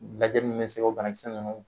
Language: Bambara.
Lajɛli min be se k'o banakisɛ nunnu